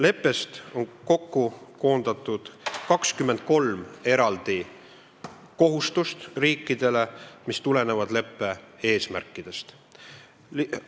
Leppesse on koondatud 23 kohustust riikidele, mis tulenevad leppe eesmärkidest.